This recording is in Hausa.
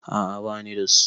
A'a bani da su.